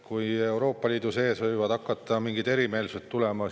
Ka Euroopa Liidu sees võivad hakata mingid erimeelsused tulema.